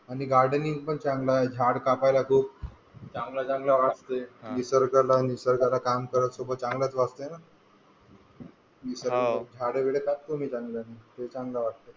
आणि गार्डनिंग पण छान जमतंय, झाड कापायला खूप चांगलं चांगलं वाटतंय, निसर्गासोबत काम करायला चांगलाच वाटत ना, हो छान झाडेबिडे कापतो मी. चांगले ते चांगलं वाटतंय.